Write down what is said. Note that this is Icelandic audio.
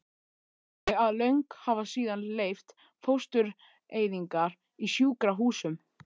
þannig að lög hafa síðan leyft fóstureyðingar í sjúkrahúsum.